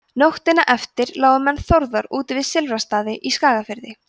nóttina eftir lágu menn þórðar úti við silfrastaði í skagafirði